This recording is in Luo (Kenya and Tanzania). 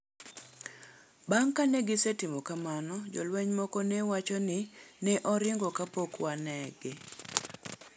Bang ' kane gisetimo kamano, jolweny moko ne wacho ni: "Ne oringo kapok wanege.